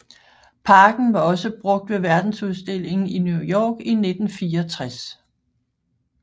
Parken var også brugt ved verdensudstillingen i New York i 1964